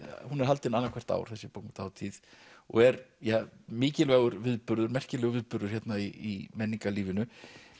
hún er haldin annað hvert ár þessi bókmenntahátíð og er mikilvægur viðburður merkilegur viðburður hérna í menningarlífinu